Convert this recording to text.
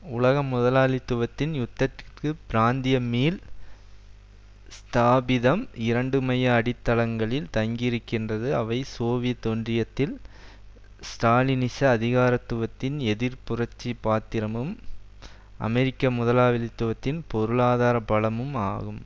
உலக முதலாளித்துவத்தின் யுத்தத்திற்கு பிராந்தியமீள் ஸ்தாபிதம் இரண்டு மைய அடித்தளங்களில் தங்கியிருக்கின்றது அவை சோவியத் ஒன்றியத்தில் ஸ்டாலினிச அதிகாரத்துவத்தின் எதிர் புரட்சி பாத்திரமும் அமெரிக்க முதலாளித்துவத்தின் பொருளாதார பலமும் ஆகும்